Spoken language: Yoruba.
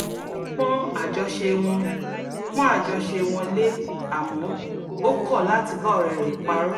ó pọ́n àjọṣe wọn pọ́n àjọṣe wọn lé àmọ́ ó kọ̀ láti bá ọ̀rẹ́ rẹ̀ parọ́